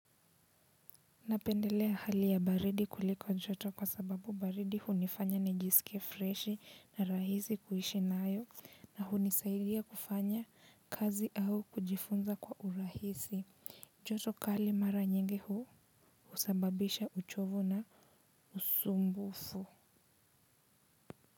Napendelea hali ya baridi kuliko njoto kwa sababu baridi hunifanya nijisikie freshi na rahisi kuishi nayo na hunisaidia kufanya kazi au kujifunza kwa urahisi. Njoto kali mara nyingi hu sababisha uchovu na usumbufu.